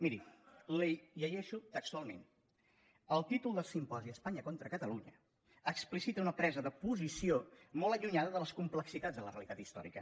miri l’hi llegeixo textualment el títol del simposi espanya contra catalunya explicita una presa de posició molt allunyada de les complexitats de la realitat històrica